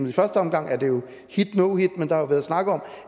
i første omgang er det jo hitno hit men der har jo været snakket om